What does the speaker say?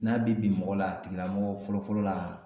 N'a be bin mɔgɔ la a tigila mɔgɔ a fɔlɔ fɔlɔ la